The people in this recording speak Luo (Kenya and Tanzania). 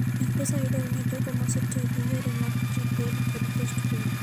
M-Pesa yudore ne jogo ma osetiyo gi yore mag prepaid kod postpaid.